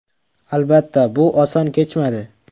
Albatta, bu oson kechmadi.